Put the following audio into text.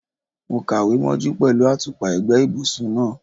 Mo kàwé mọ́jú pẹ̀lú àtùpà ẹ̀gbẹ́ ibùsùn náà.